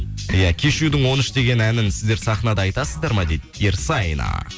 иә кешьюдің он үш деген әнін сіздер сахнада айтасыздар ма дейді ерсайна